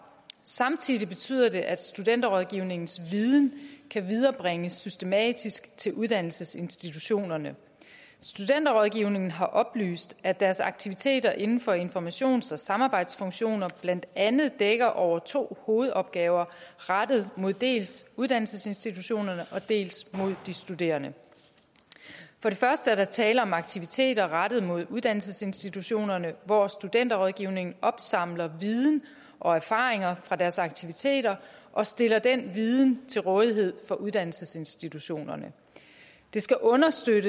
samtidig betyder det at studenterrådgivningens viden kan viderebringes systematisk til uddannelsesinstitutionerne studenterrådgivningen har oplyst at deres aktiviteter inden for informations og samarbejdsfunktioner blandt andet dækker over to hovedopgaver rettet mod dels uddannelsesinstitutionerne dels mod de studerende for det første er der tale om aktiviteter rettet mod uddannelsesinstitutionerne hvor studenterrådgivningen opsamler viden og erfaringer fra deres aktiviteter og stiller den viden til rådighed for uddannelsesinstitutionerne det skal understøtte